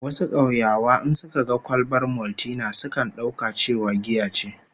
Wasu kauyawa in suka ga kwalbar Maltina sukan dauka cewa giya ce